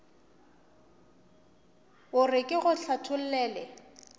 o re ke go hlathollele